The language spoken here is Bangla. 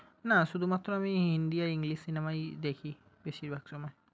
না শুধুমাত্র আমি হিন্দি আর english cinema ই দেখি বেশীরভাগ সময়।